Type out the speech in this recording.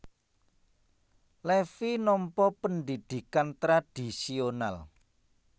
Levi nampa pendhidhikan tradhisional